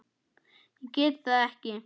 Ég get það ekki